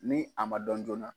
Ni a ma dɔn joona .